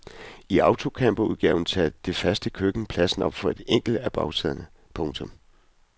I autocamperudgaven tager det faste køkken pladsen op for et enkelt af bagsæderne. punktum